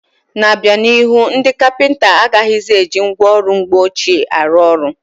N'obianihu, ndị kapịnta agaghịzi eji ngwa ọrụ mgbe ọchịe arụ ọrụ.